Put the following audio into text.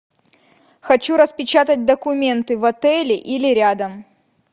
хочу распечатать документы в отеле или рядом